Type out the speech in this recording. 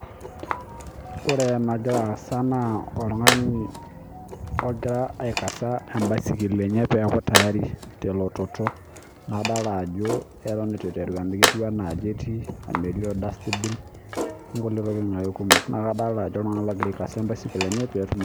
Ore enagira asaa na oltung'ani ogira aikaza ebaisikil enye pee eku tayari telototo nadolita Ajo keton eitu enteru amu ketieu ena aji edolita dustbin onkulie tokitin ake kumok neeku kadolita Ajo oltung'ani ogira aikaza ee ebaisikil enye petum